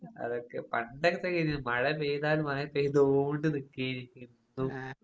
അതൊക്കെ പണ്ടൊക്കെ മഴ പെയ്താൽ മഴ പെയ്തോണ്ട് നിക്കേനി എന്നും